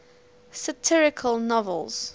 satirical novels